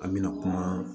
An mina kuma